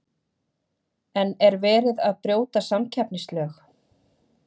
En er verið að brjóta samkeppnislög?